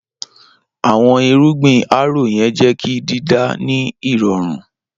Awọn irugbin harrow yẹn jẹ ki dida ni irọrun.